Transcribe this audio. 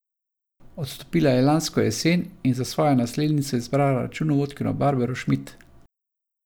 Odstopila je lansko jesen in za svojo naslednico izbrala računovodkinjo Barbaro Šmid.